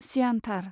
सियानथार।